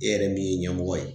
E yɛrɛ min ye ɲɛmɔgɔ ye